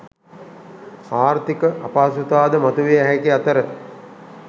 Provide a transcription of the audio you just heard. ආර්ථික අපහසුතාද මතුවිය හැකි අතර